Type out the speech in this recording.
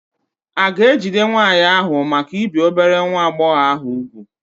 A ga-ejide nwaanyị ahụ maka ibi obere nwa agbọghọ ahụ úgwù?